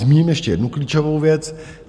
Zmíním ještě jednu klíčovou věc.